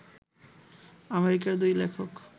আমেরিকার দুই লেখক